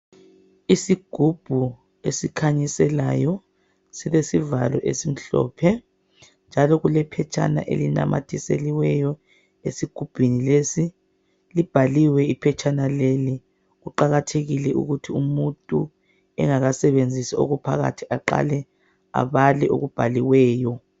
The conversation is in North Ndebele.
Isigubhu esikhanyiselayo silesivalo esimhlophe njalo kulephetshana elinamathiseliweyo esigubhini lesi, libhaliwe iphetshana leli. Kuqakathekile ukuthi umuntu engakasebenzisi okuphakathi aqale abale okubhaliweyo.